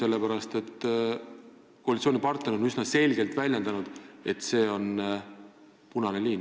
Üks koalitsioonipartner on ometi üsna selgelt väljendanud, et see on punane liin.